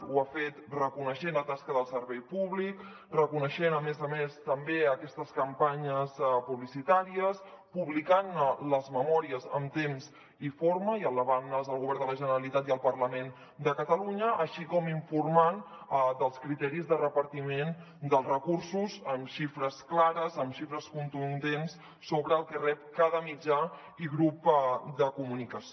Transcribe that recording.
ho ha fet reconeixent la tasca del servei públic reconeixent a més a més també aquestes campanyes publicitàries publicant·ne les memòries en temps i forma i elevant·les al govern de la generalitat i al parlament de catalunya així com informant dels criteris de repartiment dels recursos amb xifres clares amb xifres contundents sobre el que rep cada mitjà i grup de comunicació